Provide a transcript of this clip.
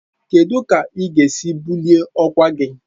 Kedu ka ị ga-esi bulie ọkwa gị?